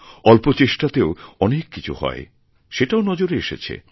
অল্পচেষ্টাতেও অনেক কিছু হয় সেটাও নজরে এসেছে